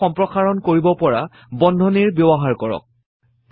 আকাৰ সম্প্ৰসাৰণ কৰিব পৰা বন্ধনীৰ ব্যৱহাৰ কৰক